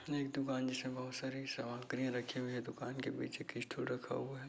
यह एक दुकान जिसमे बहुत सारे सामान कही रखी हुई है। दुकान के बीच एक स्टूल रखा हुआ है।